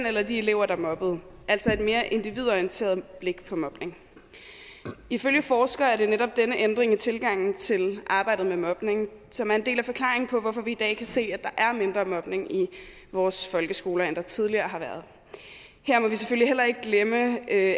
eller de elever der mobbede altså et mere individorienteret blik på mobning ifølge forskere er det netop denne ændring i tilgangen til arbejdet med mobning som er en del af forklaringen på hvorfor vi i dag kan se at der er mindre mobning i vores folkeskoler end der tidligere har været her må vi selvfølgelig heller ikke glemme at